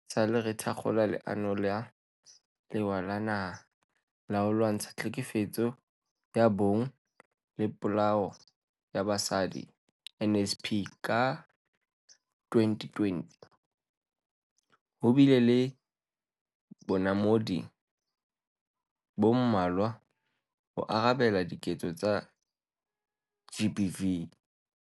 Haesale re thakgola Leano la Lewa la Naha la ho Lwantsha Tlhekefetso ya Bong le Polao ya Basadi, NSP, ka 2020, ho bile le bonamodi bo mmalwa ho arabela diketso tsa GBV.